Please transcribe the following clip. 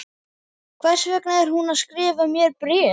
Hvers vegna er hún að skrifa mér bréf?